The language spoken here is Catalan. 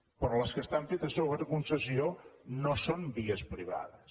però les que estan fetes sota concessió no són vies privades